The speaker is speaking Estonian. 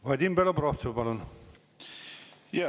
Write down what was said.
Vadim Belobrovtsev, palun!